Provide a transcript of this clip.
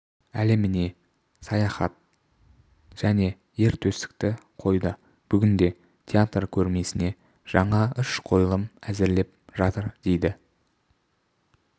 әлеміне саяхат және ер төстікті қойды бүгінде театр көрмесіне жаңа үш қойылым әзірлеп жатыр деді